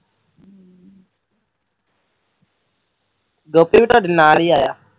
ਗੋਪੀ ਵੀ ਤੁਹਾਡੇ ਨਾਲ ਹੀ ਆਇਆ